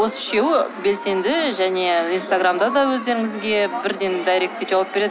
осы үшеуі белсенді және инстаграмда да өздеріңізге бірден дайректке жауап береді